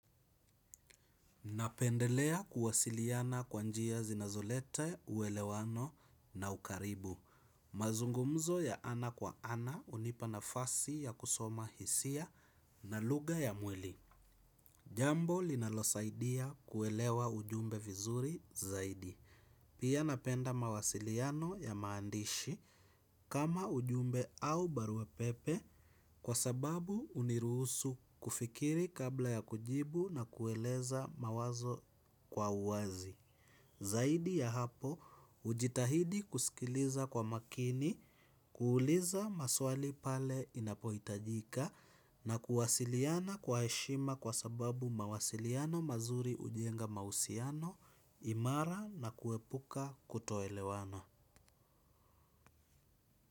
Napendelea kuwasiliana kwa njia zinazoleta uelewano na ukaribu. Mazungumzo ya ana kwa ana hunipa nafasi ya kusoma hisia na lugha ya mwili. Jambo linalosaidia kuelewa ujumbe vizuri zaidi. Pia napenda mawasiliano ya maandishi kama ujumbe au baruapepe kwa sababu huniruhusu kufikiri kabla ya kujibu na kueleza mawazo kwa uwazi. Zaidi ya hapo, hujitahidi kusikiliza kwa makini, kuuliza maswali pale inapohitajika, na kuwasiliana kwa heshima kwa sababu mawasiliano mazuri hujenga mahusiano, imara na kuepuka kutoelewana.